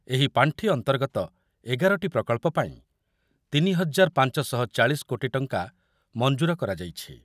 ଏହି ପାଣ୍ଠି ଅନ୍ତର୍ଗତ ଏଗାରଟି ପ୍ରକଳ୍ପ ପାଇଁ ତିନି ହଜାର ପାଞ୍ଚଶହଚାଳିଶ କୋଟି ଟଙ୍କା ମଂଜୁର କରାଯାଇଛି।